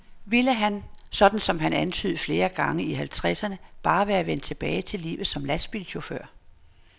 Ville han, sådan som han antydede flere gange i halvtredserne, bare være vendt tilbage til livet som lastbilchauffør.